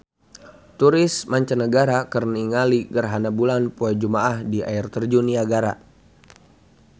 Turis mancanagara keur ningali gerhana bulan poe Jumaah di Air Terjun Niagara